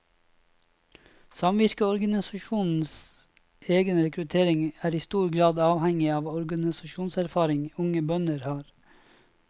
Samvirkeorganisasjonenes egen rekruttering er i stor grad avhengig av den organisasjonserfaring unge bønder har.